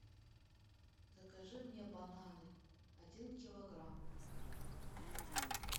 закажи мне бананы один килограмм